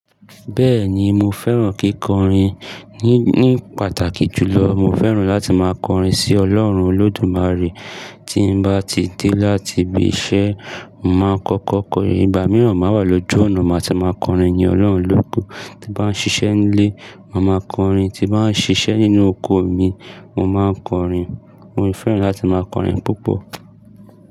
Bẹ́ẹ̀ni mo fẹ́ràn kíkọrin ní, ní pàtàkì jùlọ mo fẹ́ràn láti máa kọrin sí Ọlọ́run Olódùmarè. Tí mo bá ti dé láti ibi iṣẹ́, màá kọ́kọ́ kọrin. Ìgbà mìíràn máa wà lójú ọ̀nà, màá ti máa kọrin yin Ọlọ́run lóke. Ti bá ń ṣiṣẹ́ nílé, màá mọ kọrin. Ti bá ń ṣiṣẹ́ nínú oko mi, mo máa n kọrin. Mo fẹ́ràn láti máa kọrin púpọ̀.